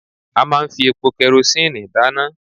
A máa ń fi epo kerosíǹnì dáná